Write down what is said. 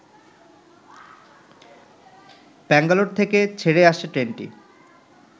ব্যাঙ্গালোর থেকে ছেড়ে আসে ট্রেনটি